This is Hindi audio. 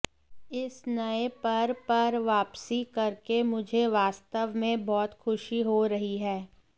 इस नए पर पर वापसी करके मुझे वास्तव में बहुत खुशी हो रही है